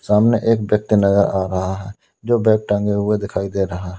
सामने एक व्यक्ति नजर आ रहा है जो बैग टंगे हुए दिखाई दे रहा है।